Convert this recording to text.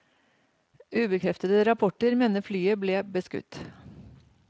Ubekreftede rapporter mener flyet ble beskutt.